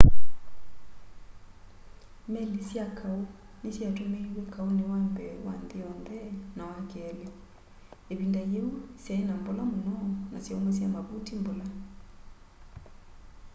meli sya kaũ ni syatumiiwe kaũni wa mbee wa nthi yonthe na wa keli ivinda yiũ syai na mbola muno na syaumasya mavuti mbola